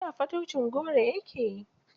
Da fataucin goro ya ke.